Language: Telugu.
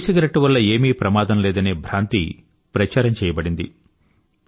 ఈసిగరెట్టు వల్ల ఏమీ ప్రమాదం లేదనే భ్రాంతి ప్రచారం చెయ్యబడింది